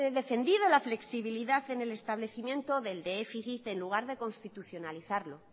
defendido la flexibilidad en el establecimiento del déficit en lugar de constitucionalizarlo